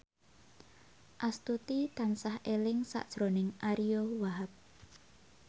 Astuti tansah eling sakjroning Ariyo Wahab